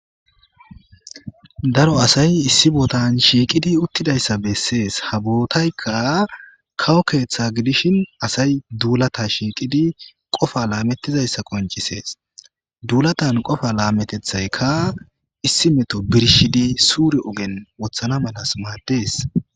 Daro asay issi bootan shiiqidi uttidayssa bessees ha bootaykka kawo keeththa gidishin asay duulata shiiqidi qofa laamettizayssa qoncisees duulatan qofa laametethaykka issi meto birshidi suuri ogen wothana malas maaddees.